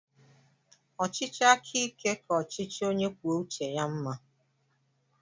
Ọchịchị aka ike ka ọchịchị onye kwuo uche ya mma.